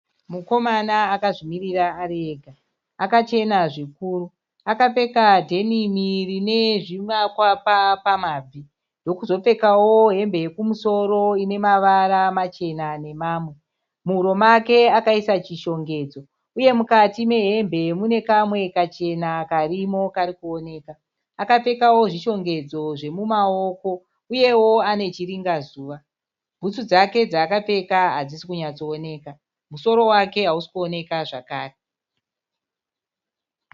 Mukomana akazvimirira ari ega. Akachena zvikuru. Akapfeka dhenimi rine zvimakwapa pamabvi ndokuzopfekawo hembe yokumusoro ine mavara machena namamwe. Muhuro make akaisa chishongedzo uye mukati mehembe mune kamwe kachena karimo kari kuoneka. Akapfekawo zvishongedzo zvemumaoko uyewo ane chiringazuva. Bhutsu dzake dzaakapfeka hadzisi kunyatsooneka. Musoro wake hausi kuoneka zvakare.